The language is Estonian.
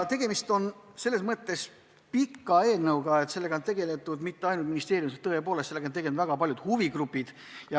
Tegemist on selles mõttes pikaaegse eelnõuga, et sellega pole tegeletud mitte ainult ministeeriumis, vaid sellega tegelenud ka väga palju huvigrupid.